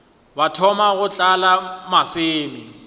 ba thoma go tlala maseme